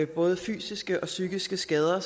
både fysiske og psykiske skader